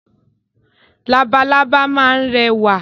Labalábá máa ń rẹwà.